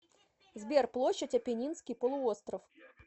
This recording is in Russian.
сбер площадь аппенинский полуостров